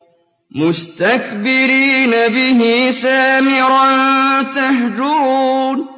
مُسْتَكْبِرِينَ بِهِ سَامِرًا تَهْجُرُونَ